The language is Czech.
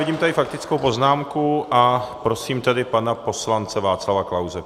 Vidím tady faktickou poznámku a prosím tedy pana poslance Václava Klause.